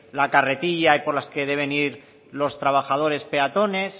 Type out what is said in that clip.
la carretilla y por las que deben ir los trabajadores peatones